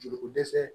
Joli ko dɛsɛ